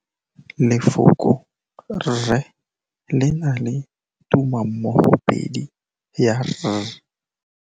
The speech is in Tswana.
Lefoko la rre, le na le tumammogôpedi ya, r.